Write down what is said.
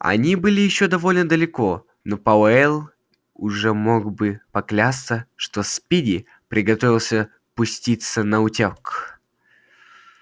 они были ещё довольно далеко но пауэлл уже мог бы поклясться что спиди приготовился пуститься наутёк